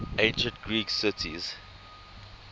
ancient greek cities